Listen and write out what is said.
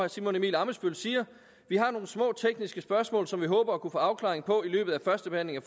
simon emil ammitzbøll siger vi har nogle små tekniske spørgsmål som vi håber at kunne få afklaring på i løbet af førstebehandlingen